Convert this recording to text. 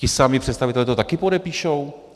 Ti samí představitelé to taky podepíšou?